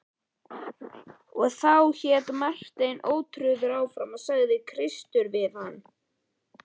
Og þá, hélt Marteinn ótrauður áfram,-sagði Kristur við hann.